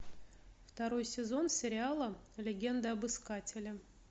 второй сезон сериала легенда об искателе